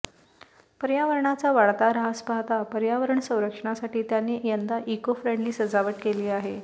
पर्यावरणाचा वाढता ऱ्हास पाहता पर्यावरण संरक्षणासाठी त्यांनी यंदा इको फ्रेंडली सजावट केली आहे